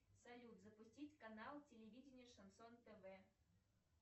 салют запустить канал телевидения шансон тв